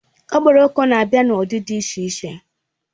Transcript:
Okporoko na-abịa n'ụdị dị iche iche